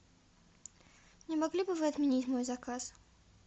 не могли бы вы отменить мой заказ